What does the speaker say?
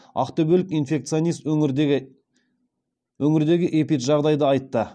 ақтөбелік инфекционист өңірдегі эпиджағдайды айтты